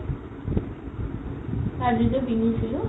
আজি যে বিহু গৈছিলো